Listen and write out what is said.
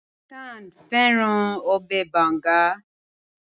Nathan fẹràn Ọbẹ̀ banga